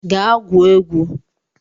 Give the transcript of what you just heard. Gaa gwuo egwu!